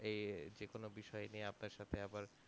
এ যেকোনো বিষয় নিয়ে আপনার সাথে আবার